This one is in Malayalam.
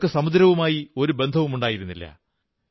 അവർക്ക് സമുദ്രവുമായി ഒരു ബന്ധവുമുണ്ടായിരുന്നില്ല